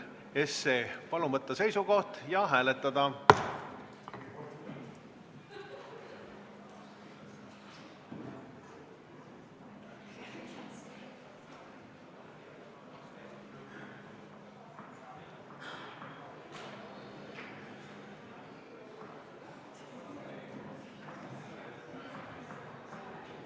Palun võtta seisukoht ja hääletada!